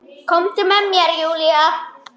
Komdu með mér Júlía.